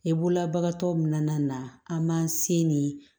E bololabagatɔw min nana an m'an se nin